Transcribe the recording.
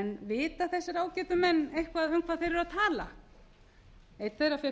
en vita þessir ágætu menn eitthvað um hvað þeir eru að tala einn þeirra fékk